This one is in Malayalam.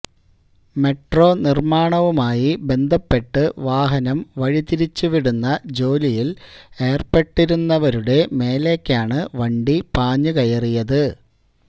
മെട്രോ നിര്മ്മാണവുമായി ബന്ധപ്പെട്ട് വാഹനം വഴി തിരിച്ച് വിടുന്ന ജോലിയില് ഏര്പ്പെട്ടിരുന്നവരുടെ മേലേക്കാണ് വണ്ടി പാഞ്ഞുകയറിയത്